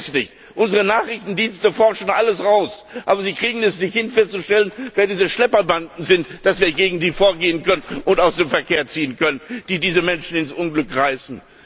Ich verstehe es nicht Unsere Nachrichtendienste forschen alles aus, aber sie kriegen es nicht hin, festzustellen, wer diese Schlepperbanden sind, damit wir gegen sie vorgehen und jene aus dem Verkehr ziehen können, die diese Menschen ins Unglück reißen.